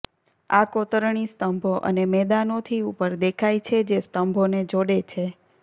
આ કોતરણી સ્તંભો અને મેદાનો થી ઉપર દેખાય છે જે સ્તંભોને જોડે છે